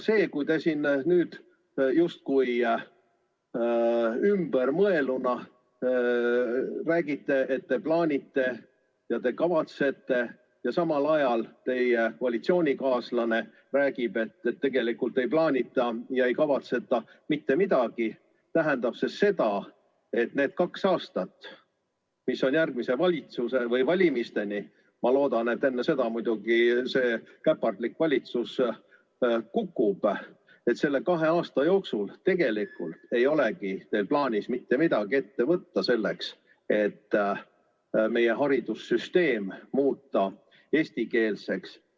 See, kuidas te siin nüüd justkui ümber mõelnuna räägite, et te plaanite, te kavatsete, ja samal ajal teie koalitsioonikaaslane räägib, et tegelikult ei plaanita ega kavatseta mitte midagi, tähendab seda, et need kaks aastat, mis on järgmise valitsuse moodustamiseni või valimisteni – ma muidugi loodan, et juba enne seda see käpardlik valitsus kukub –, nende kahe aasta jooksul tegelikult ei olegi teil plaanis mitte midagi ette võtta selleks, et muuta meie haridussüsteem eestikeelseks.